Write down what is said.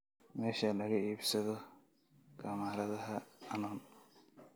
meesha laga iibsado kamaradaha canon